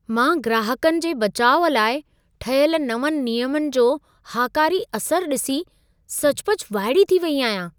मां ग्राहकनि जे बचाउ लाइ ठहियल नवंनि नियमनि जो हाकारी असर ॾिसी सचुपचु वाइड़ी थी वेई आहियां।